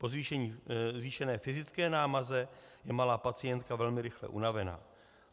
Po zvýšené fyzické námaze je malá pacientka velmi rychle unavená.